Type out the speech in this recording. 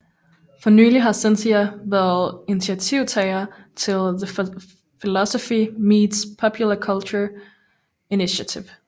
For nylig har Cynthia været initiativtager til The Philosophy Meets Popular Culture Initiative